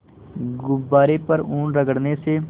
गुब्बारे पर ऊन रगड़ने से